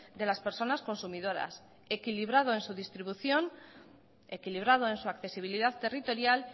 de las personas consumidoras equilibrado en su distribución equilibrado en su accesibilidad territorial